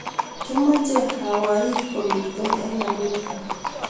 Kimache Hawaii komiten eng America